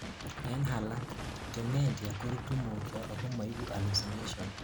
en alak, dementia korutu mutyo ako maibu hallucinations